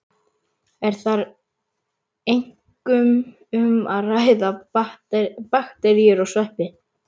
Er þar einkum um að ræða bakteríur og sveppi.